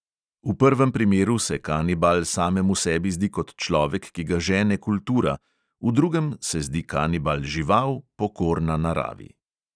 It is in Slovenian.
V prvem primeru se kanibal samemu sebi zdi kot človek, ki ga žene kultura, v drugem se zdi kanibal žival, pokorna naravi.